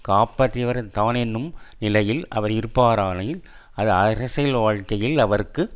காப்பாற்றியவர் தான் என்னும் நிலையில் அவர் இருப்பாராயின் அது அரசியல் வாழ்க்கையில் அவருக்கு